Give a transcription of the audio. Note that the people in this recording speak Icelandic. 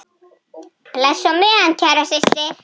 Bless á meðan, kæra systir.